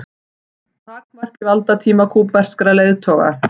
Takmarki valdatíma kúbverskra leiðtoga